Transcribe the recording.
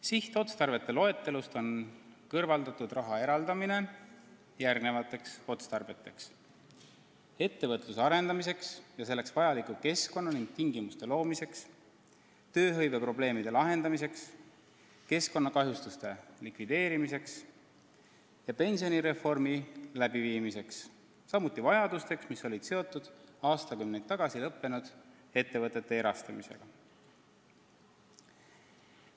Sihtotstarvete loetelust on kõrvaldatud raha eraldamine järgmisteks otstarveteks: ettevõtluse arendamine ja selleks vajaliku keskkonna ning tingimuste loomine, tööhõiveprobleemide lahendamine, keskkonnakahjustuste likvideerimine ja pensionireformi läbiviimine, samuti selliste vajaduste rahuldamine, mis olid seotud aastakümneid tagasi lõppenud ettevõtete erastamisega.